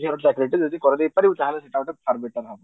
ଝିଅର ଚାକିରି ଟିଏ ଯଦି କରେଇଦେଇ ପାରିବୁ ତାହେଲ ସେଇଟା ଗୋଟେ far better ହବ